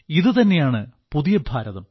ഇതുതന്നെയാണ് പുതിയ ഭാരതം